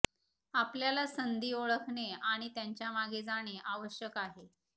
आपल्याला संधी ओळखणे आणि त्यांच्या मागे जाणे आवश्यक आहे